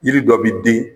Yiri dɔ bi den